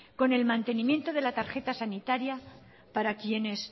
con el mantenimiento de la tarjeta sanitaria para quienes